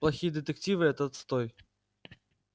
плохие детективы это отстой